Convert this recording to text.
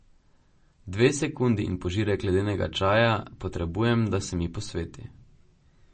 Dve sekundi in požirek ledenega čaja potrebujem, da se mi posveti.